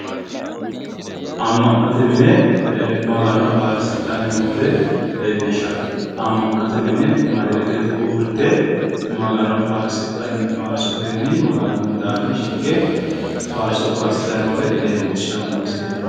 Ama'note mine Magano faarsifhanni madarakete uurrite noore leellishshano misileti